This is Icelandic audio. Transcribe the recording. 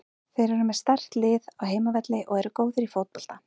Þeir eru með sterkt lið á heimavelli og eru góðir í fótbolta.